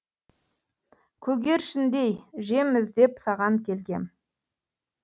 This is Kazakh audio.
көгершіндей жем іздеп саған келгем